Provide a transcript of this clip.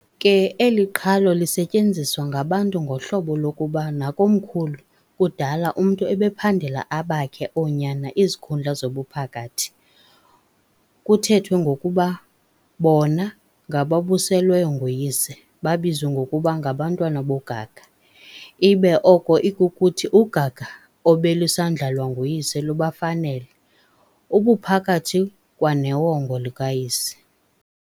Ke eli qhalo lisetyenziswa ngabantu ngohlobo lokuba nakomkhulu kudala umntu ubephandela abakhe oonyana izikhundla zobuphakathi, kuthethwe ngokuba bona ngababuselweyo nguyise, babizwe ngokuba "ngabantwana bogaga," ibe oko ikukuthi ugaga obelusandlalwa nguyise lubafanele, ubuphakathi kwanewonga likayise.